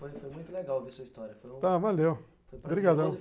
Foi muito legal ouvir sua história., tá, valeu, obrigadão.